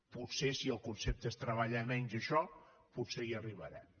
potser si el concepte és treballar menys a això potser hi arribarem